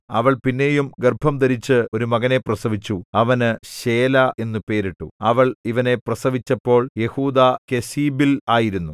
അവൾ പിന്നെയും ഗർഭംധരിച്ച് ഒരു മകനെ പ്രസവിച്ചു അവന് ശേലാ എന്നു പേരിട്ടു അവൾ ഇവനെ പ്രസവിച്ചപ്പോൾ യെഹൂദാ കെസീബിൽ ആയിരുന്നു